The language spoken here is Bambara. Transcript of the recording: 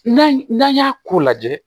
N'a n'an y'a ko lajɛ